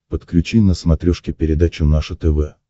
подключи на смотрешке передачу наше тв